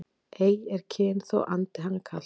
Ei er kyn þó andi hann kalt